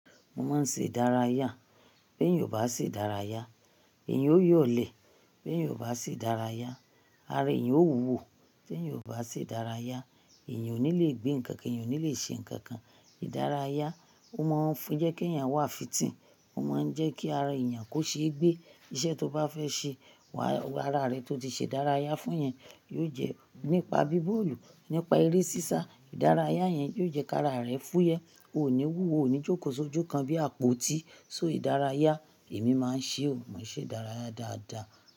Mo máa ń ṣe ìdárayá. Bí ènìyàn bá ṣe ìdárayá, ẹ̀yan ó yọ̀lẹ̀. Bí ènìyàn bá ṣe ìdárayá, ara ènìyàn ó wúwo. Bí ènìyàn bá ṣe ìdárayá, ènìyàn ò ní lè gbé nǹkan kan, ènìyàn ò ní lè ṣe nǹkan kan. Ìdárayá, ó máa ń fún, jẹ́ kí ènìyàn wà fìtì, ó máa ń jẹ́ kí ara ènìyàn kó ṣe gbé iṣẹ́ tó bá fẹ́ ṣe. Wa, ara rẹ tó ti ṣe ìdárayá fún yẹn, yóò jẹ́ nípa bí bọ́ọ̀lù, nípa eré sísá. Ìdárayá yẹn yóò jẹ́ kí ara rẹ fúyẹ́. Ó ò ní wúwo, ò ní jókò sojukan bí àpótí. So ìdárayá, èmi máa ń ṣe o, mo n ṣe ìdárayá dáadáa.